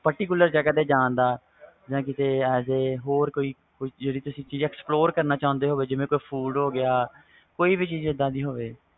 particular ਜਗ੍ਹਾ ਤੇ ਜਾਨ ਦਾ ਜਾ ਕੀਤੇ as a ਹੋਰ ਕੀਤੇ ਕੋਈ ਚੀਜ਼ ਜਿਵੇ ਤੁਸੀ explore ਕਰਨਾ ਚਾਹੁੰਦੇ ਹੋ ਜਿਵੇ food ਹੋ ਗਿਆ